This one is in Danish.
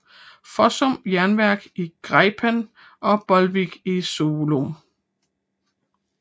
Fossum Jernværk i Gjerpen og Bolvik i Solum